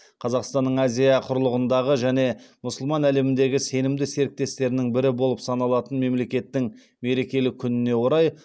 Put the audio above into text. қазақстанның азия құрлығындағы және мұсылман әлеміндегі сенімді серіктестерінің бірі болып саналатын мемлекеттің мерекелі күніне орай